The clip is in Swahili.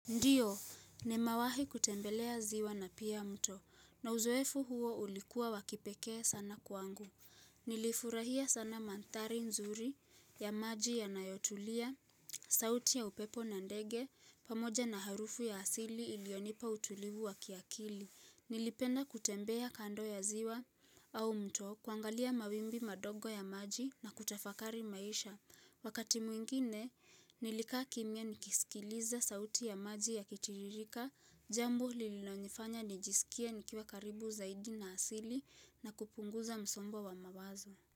Ndiyo, nimewahi kutembelea ziwa na pia mto, na uzoefu huo ulikuwa wa kipekee sana kwangu. Nilifurahia sana manthari nzuri ya maji yanayotulia, sauti ya upepo na ndege, pamoja na harufu ya asili ilionipa utulivu wa kiakili. Nilipenda kutembea kando ya ziwa au mto kuangalia mawimbi madogo ya maji na kutafakari maisha. Wakati mwingine, nilikaa kimya nikisikiliza sauti ya maji yakitiririka, jambo lilo nifanya nijisikie nikiwa karibu zaidi na asili na kupunguza msombo wa mawazo.